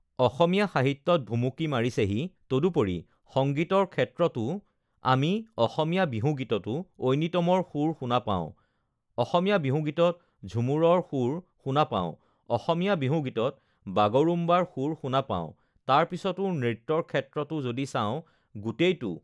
অসমীয়া সাহিত্যত ভুমুকি মাৰিছেহি তদুপৰি সংগীতৰ ক্ষেত্ৰতো তো আমি অসমীয়া বিহুগীতটো ঐনিতমৰ সুৰ শুনা পাওঁ অসমীয়া বিহুগীতত ঝুমুৰৰ সুৰ শুনা পাওঁ অসমীয়া বিহুগীতত uhh বাগৰুম্বাৰ সুৰ শুনা পাওঁ তাৰপিছতে নৃত্যৰ ক্ষেত্ৰতো যদি চাঁও গোটেই তো